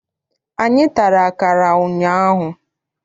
Anyị tara akara ụnyaahụ.